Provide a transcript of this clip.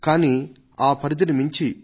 ఎవ్వరూ దీనికి మించి ఆలోచించనే లేదు